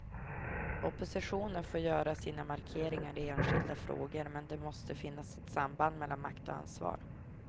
Oppositionen får göra sina markeringar i enskilda frågor, men det måste finnas ett samband mellan makt och ansvar.